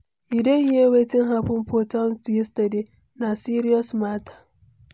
You don hear wetin happen for town yesterday? Na serious matter.